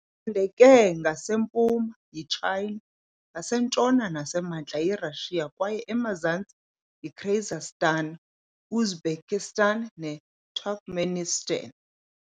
Icandeke ngasempuma yiTshayina, ngasentshona nasemantla yiRashiya kwaye emazantsi yiKyrgyzstan, Uzbekistan neTurkmenistan .